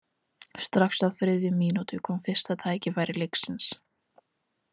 Strax á þriðju mínútu kom fyrsta færi leiksins.